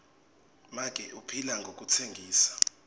make uphila ngekutsengisa